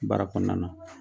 Baara kɔnɔna na.